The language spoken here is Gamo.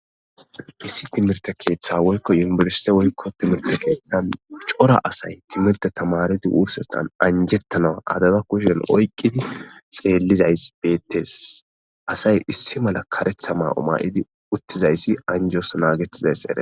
issi timirte keeththa woykko yimburise woykko timirte keeththan cora asay timirte tamaridi wursetan anjettanawa adaba kushen oyqqidi xeellizays beettes asay issi mala karetha ma7oma7idi uttizayssi anjos naagettizays ere